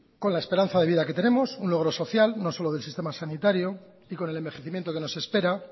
con la esperanza de vida que tenemos un logro social no solo del sistema sanitario y con el envejecimiento que nos espera